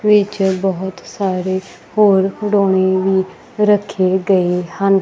ਵਿੱਚ ਬਹੁਤ ਸਾਰੇ ਹੋਰ ਖਿਡੌਣੇ ਵੀ ਰੱਖੇ ਗਏ ਹਨ।